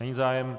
Není zájem.